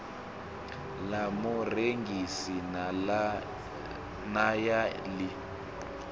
ḽa murengisi na ya ḽi